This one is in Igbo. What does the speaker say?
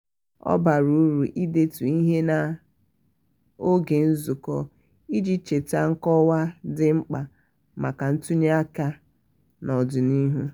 ọ bara uru idetu ihe n'oge nzukọ iji cheta nkọwa dị mkpa maka ntụnye aka n'ọdịnihu.